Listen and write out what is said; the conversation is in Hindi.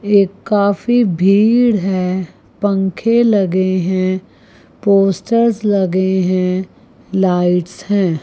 ये काफी भीड़ है पंखे लगे हैं पोस्टर्स लगे हैं लाइट्स है।